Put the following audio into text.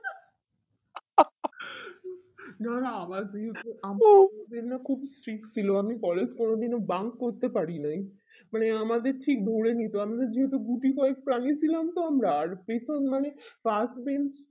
না না না আমাদের না খুবই streak ছিল আমি collage কোনোদিনও bunk করতে পারি নাই আমাদের ঠিক ধরে নিতো আমাদের যেহেতু গুটি কয়েক প্রাণী ছিলাম তো আমরা আর পেছন মানে last bench